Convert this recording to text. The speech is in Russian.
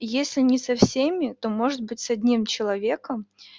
если не со всеми то может быть с одним человеком